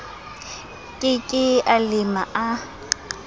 ke ke a lema a